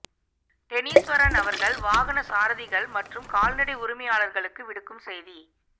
டெனிஸ்வரன் அவர்கள் வாகன சாரதிகள் மற்றும் கால்நடை உரிமையாளர்களுக்கு விடுக்கும் செய்தி